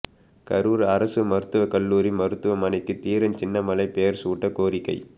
கரூா் அரசு மருத்துவக்கல்லூரி மருத்துவமனைக்கு தீரன் சின்னமலை பெயா் சூட்ட கோரிக்கை